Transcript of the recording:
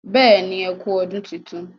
béèni ẹkú ọdún títún